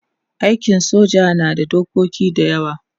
aikin soja na da dokoki da yawa